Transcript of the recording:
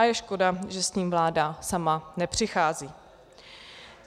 A je škoda, že s tím vláda sama nepřichází.